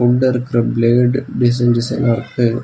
உள்ள இருக்ற blade design டிசைன்னா இருக்கு.